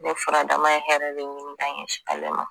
Ne furadama ye hɛrɛ de ɲini ka ɲɛsin ale ma